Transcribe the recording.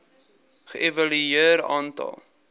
ge evalueer aantal